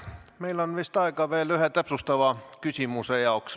Meil on vist aega veel ühe täpsustava küsimuse jaoks.